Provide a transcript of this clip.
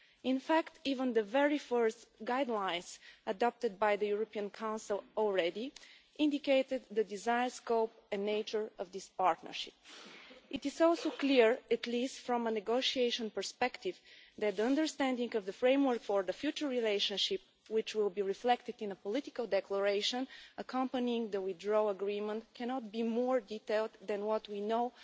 In fact, even the very first guidelines adopted by the European Council already indicated the desired scope and nature of this partnership. It is also clear, at least from a negotiation perspective, that the understanding of the framework for the future relationship, which will be reflected in a political declaration accompanying the withdrawal agreement, cannot be more detailed than what we know